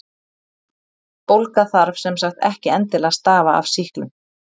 Bólga þarf sem sagt ekki endilega að stafa af sýklum.